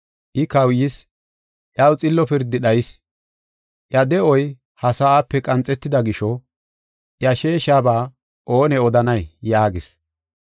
I kawuyis; iyaw xillo pirdi dhayis; iya de7oy ha sa7ape qanxetida gisho, iya sheeshaba oone odanay?” yaagees.